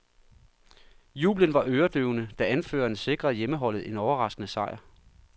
Jubelen var øredøvende, da anføreren sikrede hjemmeholdet en overraskende sejr.